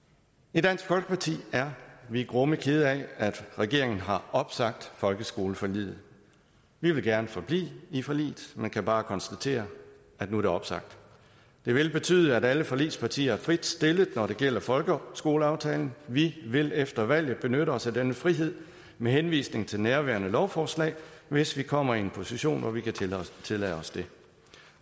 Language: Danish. i dansk folkeparti er vi grumme kede af at regeringen har opsagt folkeskoleforliget vi vil gerne forblive i forliget men kan bare konstatere at nu er det opsagt det vil betyde at alle forligspartier er fritstillet når det gælder folkeskoleaftalen vi vil efter valget benytte os af denne frihed med henvisning til nærværende lovforslag hvis vi kommer i en position hvor vi kan tillade os det